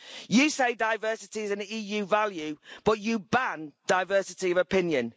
You say diversity is an EU value, but you ban diversity of opinion.